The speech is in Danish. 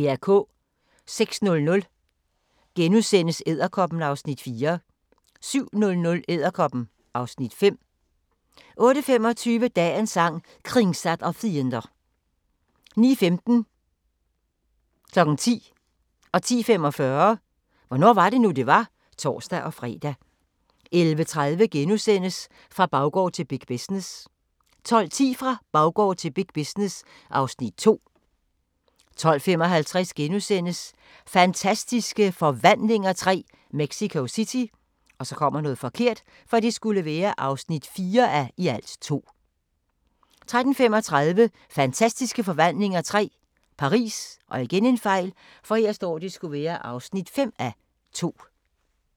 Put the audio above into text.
06:00: Edderkoppen (Afs. 4)* 07:00: Edderkoppen (Afs. 5) 08:25: Dagens Sang: Kringsatt av fiender 09:15: Hvornår var det nu, det var? (tor-fre) 10:00: Hvornår var det nu, det var? (tor-fre) 10:45: Hvornår var det nu, det var? (tor-fre) 11:30: Fra baggård til big business * 12:10: Fra baggård til big business (Afs. 2) 12:55: Fantastiske Forvandlinger III – Mexico City (4:2)* 13:35: Fantastiske Forvandlinger III – Paris (5:2)